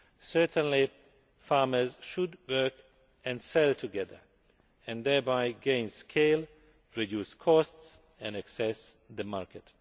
Certainly, farmers should work and sell together and thereby gain scale, reduce costs and access the market.